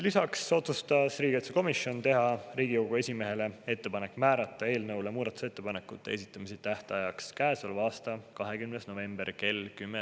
Lisaks otsustas riigikaitsekomisjon teha Riigikogu esimehele ettepaneku määrata eelnõu muudatusettepanekute esitamise tähtajaks käesoleva aasta 20. november kell 10.